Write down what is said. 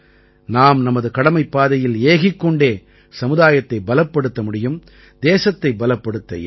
நாம் நமது கடமைப்பாதையில் ஏகிக் கொண்டே சமுதாயத்தை பலப்படுத்த முடியும் தேசத்தை பலப்படுத்த இயலும்